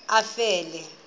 efele